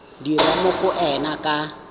dirwa mo go ena ka